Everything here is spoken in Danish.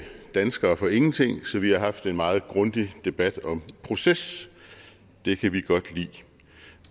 danskere for ingenting så vi har haft en meget grundig debat om proces det kan vi godt lide